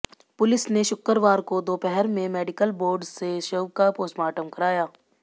police ने शुक्रवार को दोपहर में मेडिकल बोर्ड से शव का पोस्टमार्टम करवाया